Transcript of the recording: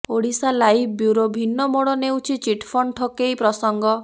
Odisha live bureau ଭିନ୍ନ ମୋଡ଼ ନେଉଛି ଚିଟଫଣ୍ଡ ଠକେଇ ପ୍ରସଙ୍ଗ